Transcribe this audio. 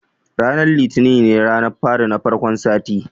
Ranar litini ne ranar fari na farkon sati